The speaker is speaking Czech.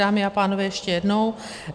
Dámy a pánové, ještě jednou.